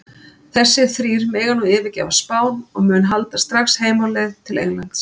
Þessir þrír mega nú yfirgefa Spán og munu halda strax heim á leið til Englands.